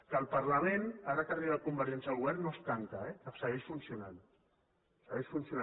que el parlament ara que ha arribat convergència al govern no es tanca eh segueix funcionant segueix funcionant